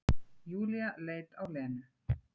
Júlía leit á Lenu.